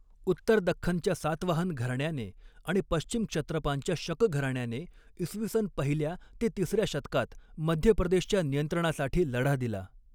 उत्तर दख्खनच्या सातवाहन घराण्याने आणि पश्चिम क्षत्रपांच्या शक घराण्याने इसवी सन पहिल्या ते तिसऱ्या शतकात मध्य प्रदेशच्या नियंत्रणासाठी लढा दिला.